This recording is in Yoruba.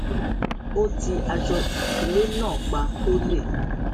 ó ti aṣọ ìkélé náà pa kó lè